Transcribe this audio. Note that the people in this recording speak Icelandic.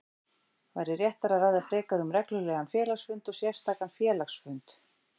væri réttara að ræða frekar um reglulegan félagsfund og sérstakan félagsfund.